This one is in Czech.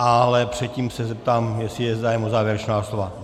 Ale předtím se zeptám, jestli je zájem o závěrečná slova.